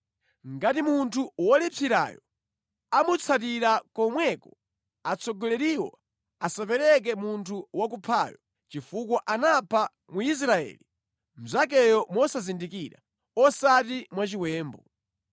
Ngati munthu wolipsirayo amutsatira komweko atsogoleriwo asapereke munthu wakuphayo chifukwa anapha Mwisraeli mnzakeyo mosazindikira, osati mwachiwembu.